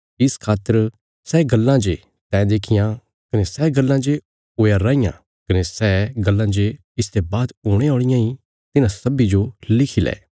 इस खातर सै गल्लां जे तैं देखियां कने सै गल्लां जे हुया राँईयां कने सै गल्लां जे इसते बाद हुणे औल़ियां इ तिन्हां सब्बीं जो लिखी लै